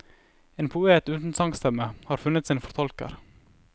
En poet uten sangstemme har funnet sin fortolker.